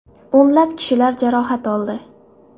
O‘nlab kishilar jarohat oldi.